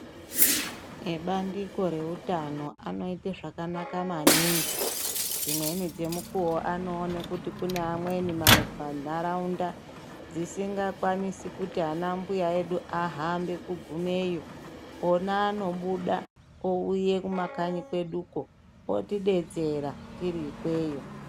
Ebandiko reutano anoite zvakanaka maningi. Dzimweni dzemukuwo anoone kuti kune amweni mantaraunda dzisingakwanisi kuti anambuya edu ahambe kugumeyo. Ona anobuda, ouye kumakanyi kweduko, otidetsera tiri ikweyo.